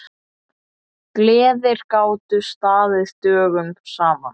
Gleðir gátu staðið dögum saman.